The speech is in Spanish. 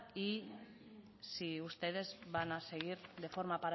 y si ustedes van a seguir de forma